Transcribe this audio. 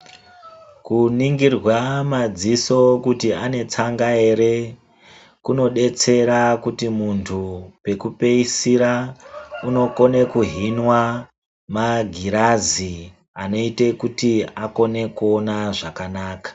Kuningirwa madziso kuti ane tsanga ere, kunodetsera kuti muntu, pekupeisira unokone kuhinwa, magirazi anoite kuti akone kuona zvakanaka.